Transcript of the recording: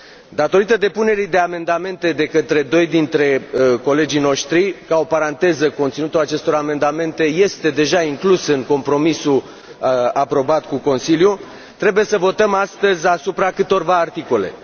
Datorită depunerii de amendamente de către doi dintre colegii noștri ca o paranteză, conținutul acestor amendamente este deja inclus în compromisul aprobat cu Consiliul trebuie să votăm astăzi asupra câtorva articole.